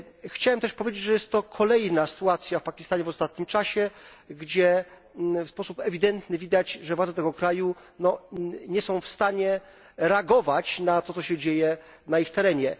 Chciałem też powiedzieć, że to kolejna sytuacja w Pakistanie w ostatnim czasie, gdzie w sposób ewidentny widać, że władze tego kraju nie są w stanie reagować na to, co się dzieje na ich terenie.